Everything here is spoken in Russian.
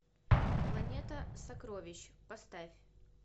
планета сокровищ поставь